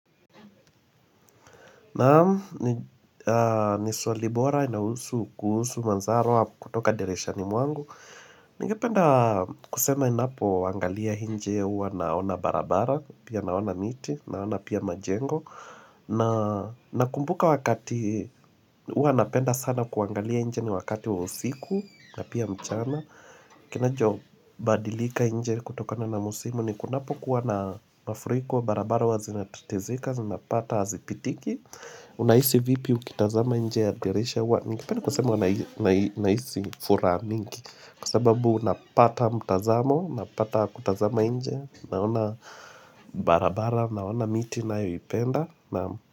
Naam ni swali bora inahusu kuhusu manzaro kutoka dirishani mwangu Nigependa kusema inapoangalia nje uwa naona barabara Pia naona miti, naona pia majengo na kumbuka wakati, uwa napenda sana kuangalia nje ni wakati wa usiku na pia mchana kinajo badilika nje kutoka na na musimu ni kunapo kuwa na mafruko wa barabara uwa na tetezika zinapata hazipitiki Unaisi vipi mkitazama nje ya dirisha ningependa kusema uwa unaisi furaha mingi kwa sababu napata mtazamo napata kutazama nje naona barabara, naona miti nayoipenda.